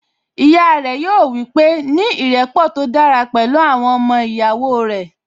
Ìyá rẹ̀ yóò wípé, 'ní ìrẹ́pọ̀ tó dára pẹ̀lú àwọn ọmọ ìyàwó rẹ̀